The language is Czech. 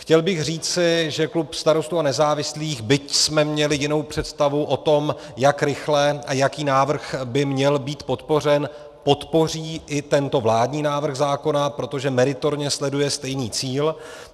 Chtěl bych říci, že klub Starostů a nezávislých, byť jsme měli jinou představu o tom, jak rychle a jaký návrh by měl být podpořen, podpoří i tento vládní návrh zákona, protože meritorně sleduje stejný cíl.